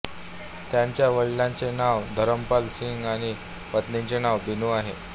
त्यांच्या वडिलांचे नाव धरमपाल सिंह आणि पत्नीचे नाव बिनू आहे